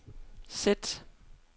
sæt